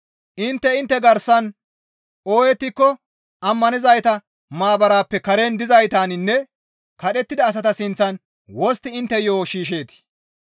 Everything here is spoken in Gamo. Intte intte garsan ooyettiko ammanizayta maabarappe karen dizaytaninne kadhettida asata sinththan wostti intte yo7o shiishsheetii?